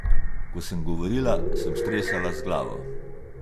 Ko sem govorila, sem stresala z glavo.